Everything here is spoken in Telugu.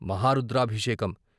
మహా రుద్రాభి షేకం